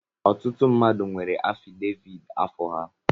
Ọtụtụ mmadụ nwere afideviit afọ ha.